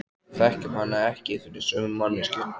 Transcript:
Við þekkjum hana ekki fyrir sömu manneskju.